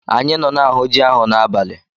Anyị nọ na-ahụ ji ahụ n'abalị.